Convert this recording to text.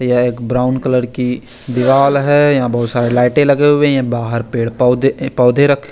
ये एक brown colour की दीवाल है या बोहोत सारी लाइटे लगे हुए है ये बाहर पेड़ पोधे अ पोधे रखे--